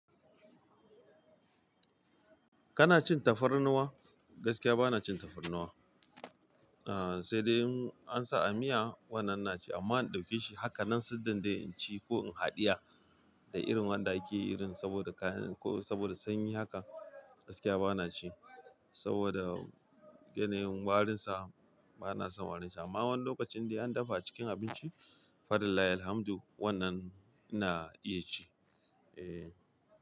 Kana cin tafarnuwa? Gaskiya bana cin tafarnuwa. Ahhh sai dai in ansa a miya wannan naci amma in ɗauke shi haka nan siddan dai in ci ko in haɗiya da irin wanda yake irin saboda kayan ko saboda sanyi haka gaskiya bana ci saboda yanayin warinsa bana son warinsa. Amma wani lokacin indai an dafa cikin abinci falilahilhamdu wannan ina iya ci. Eeh.